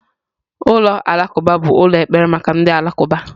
Ulọ Alakụba bụ ụlọ ekpere maka ndị Alakụba.